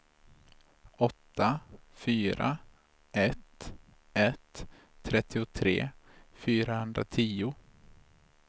åtta fyra ett ett trettiotre fyrahundratio